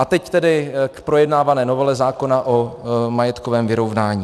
A teď tedy k projednávané novele zákona o majetkovém vyrovnání.